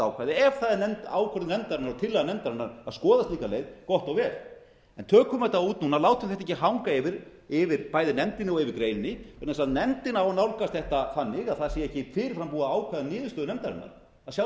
ákvæði ef það er ákvörðun nefndarinnar og tillaga nefndarinnar að skoða slík leið gott og vel en tökum þetta út núna látum þetta ekki anna yfir bæði nefndinni og yfir greininni vegna þess að nefndin á að nálgast þetta þannig að það sé ekki fyrirfram búið að ákveða niðurstöðu nefndarinnar að sjálfsögðu